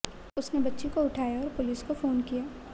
उसने बच्ची को उठाया और पुलिस को फोन किया